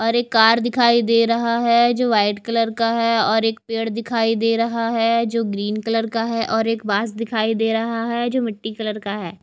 और कार दिखाई दे रहा है जो वाइट कलर का है और एक पेड़ दिखाई दे रहा है जो ग्रीन कलर का है और एक बांस दिखाई दे रहा है जो मिट्टी कलर का है।